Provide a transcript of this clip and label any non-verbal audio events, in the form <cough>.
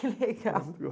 <laughs> Que legal.